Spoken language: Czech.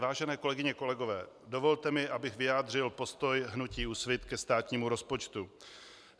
Vážené kolegyně, kolegové, dovolte mi, abych vyjádřil postoj hnutí Úsvit ke státnímu rozpočtu.